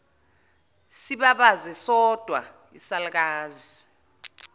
sibabaze sodwa isalukazi